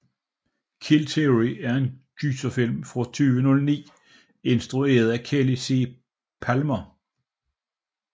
Kill Theory er en gyserthriller fra 2009 instrueret af Kelly C Pallmer